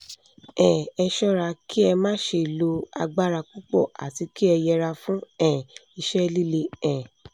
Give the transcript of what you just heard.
um ẹ ṣọ́ra kí ẹ má ṣe lo agbára púpọ̀ àti kí ẹ yẹra fún um iṣẹ́ líle um